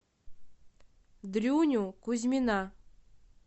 дрюню кузьмина